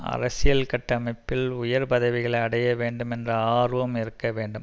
அரசியல் கட்டமைப்பிள் உயர் பதவிகளை அடைய வேண்டும் என்ற ஆர்வம் இருக்க வேண்டும்